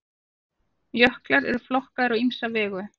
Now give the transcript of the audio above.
jöklar eru flokkaðir á ýmsa vegu